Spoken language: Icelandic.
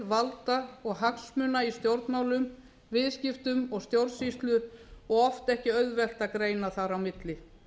valda og hagsmuna í stjórnmálum viðskiptum og stjórnsýslu og oft ekki auðvelt að greina þar á milli